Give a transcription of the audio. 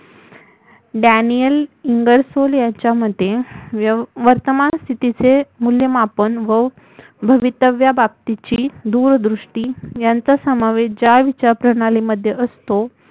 Daniel Ingersoll यांच्यामते वर्तमान स्थितीचे मुल्यमापन व भवितव्याबाबतीची दूरदृष्टी यांचा समावेश ज्या विचारप्रणालीमध्ये असतो